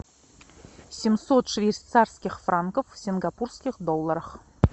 семьсот швейцарских франков в сингапурских долларах